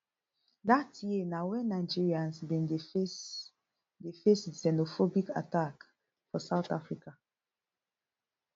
dat year na wen nigerians bin dey face dey face xenophobic attack for south africa